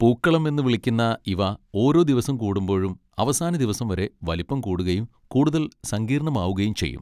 പൂക്കളം എന്ന് വിളിക്കുന്ന ഇവ ഓരോ ദിവസം കൂടുമ്പോഴും അവസാന ദിവസം വരെ വലിപ്പം കൂടുകയും കൂടുതൽ സങ്കീർണ്ണമാവുകയും ചെയ്യും.